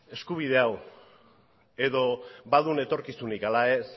eskubide hau edo baduen etorkizunik ala ez